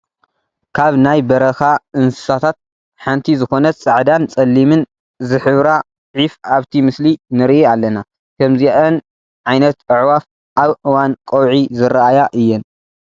ካብ ናይ በረኻ እንስሳታት ሓንቲ ዝኾነት ፃዕዳን ፀሊምን ዝሕብራ ዒፍ ኣብቲ ምስሊ ንርኢ ኣለና፡፡ ከምዚአን ዓይነት ኣዕዋፍ ኣብ እዋን ቀውዒ ዝራኣያ እየን፡፡